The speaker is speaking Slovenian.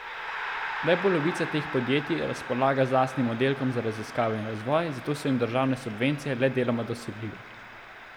Le polovica teh podjetij razpolaga z lastnim oddelkom za raziskave in razvoj, zato so jim državne subvencije le deloma dosegljive.